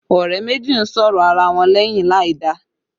Ọ̀rẹ́ méjì ń sọ̀rọ̀ ara wọn lẹ́yìn láìda